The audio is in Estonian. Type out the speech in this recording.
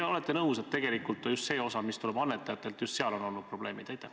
Või olete nõus, et tegelikult just selle osaga, mis tuleb annetajatelt, on olnud probleemid?